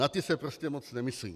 Na ty se prostě moc nemyslí.